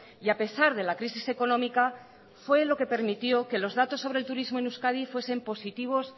y a pesar de la crisis económica fue lo que permitió que los datos sobre el turismo en euskadi fuesen positivos